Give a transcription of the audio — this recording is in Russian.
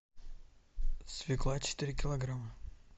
свекла четыре килограмма